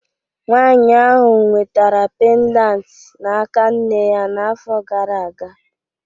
Nwanyị ahụ nwetara pendant n'aka nne ya afọ iri gara aga